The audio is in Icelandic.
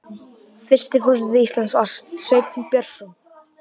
Fyrsti forseti Íslands var Sveinn Björnsson.